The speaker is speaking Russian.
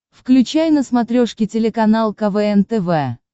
включай на смотрешке телеканал квн тв